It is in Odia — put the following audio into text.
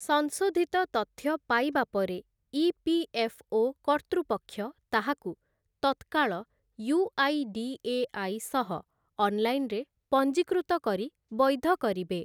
ସଂଶୋଧିତ ତଥ୍ୟ ପାଇବା ପରେ ଇ.ପି.ଏଫ୍‌.ଓ. କର୍ତ୍ତୃପକ୍ଷ ତାହାକୁ ତତ୍କାଳ ୟୁ.ଆଇ.ଡି.ଏ.ଆଇ. ସହ ଅନ୍‌ଲାଇନ୍‌ରେ ପଞ୍ଜିକୃତ କରି ବୈଧ କରିବେ ।